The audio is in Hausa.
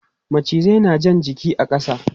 Macizai na jan jiki a ƙasa.